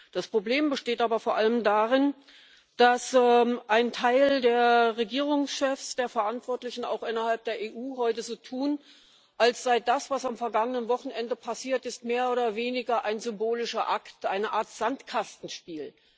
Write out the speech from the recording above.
Das Problem besteht aber vor allem darin, dass ein Teil der Regierungschefs, der Verantwortlichen auch innerhalb der EU heute so tun, als sei das, was am vergangenen Wochenende passiert ist, mehr oder weniger ein symbolischer Akt, eine Art Sandkastenspiel.